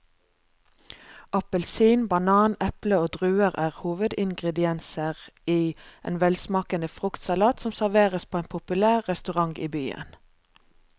Appelsin, banan, eple og druer er hovedingredienser i en velsmakende fruktsalat som serveres på en populær restaurant i byen.